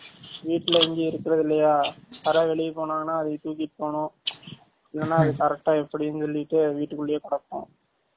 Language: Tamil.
வீட்ல இங்க இருக்க்ரது இல்லயா யாராது வெலிய போனாங்கானா அதைய தூக்கிட்டு போனும் இல்லனா அது correct ஆ எப்டினூ சொல்லிட்டு வீட்டு குல்லயே கிடக்கும்